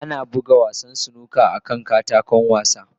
Ana buga snooker akan katako wasa.